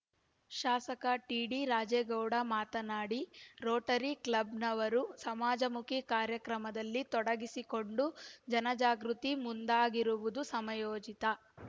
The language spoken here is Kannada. ಶಾಸಕ ಟಿಡಿರಾಜೇಗೌಡ ಮಾತನಾಡಿ ರೋಟರಿ ಕ್ಲಬ್‌ನವರು ಸಮಾಜಮುಖಿ ಕಾರ್ಯಕ್ರಮದಲ್ಲಿ ತೊಡಗಿಸಿಕೊಂಡು ಜನಜಾಗೃತಿಗೆ ಮುಂದಾಗಿರುವುದು ಸಮಯೋಚಿತ